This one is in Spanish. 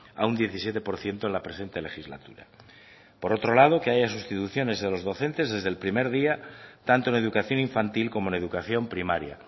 a un diecisiete por ciento en la presente legislatura por otro lado que haya sustituciones de los docentes desde el primer día tanto en educación infantil como en educación primaria